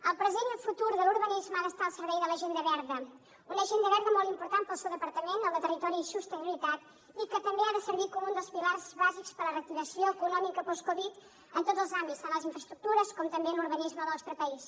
el present i el futur de l’urbanisme han d’estar al servei de l’agenda verda una agenda verda molt important per al seu departament el de territori i sostenibilitat i que també ha de servir com un dels pilars bàsics per a la reactivació econòmica post covid en tots els àmbits tant a les infraestructures com també en l’urbanisme del nostre país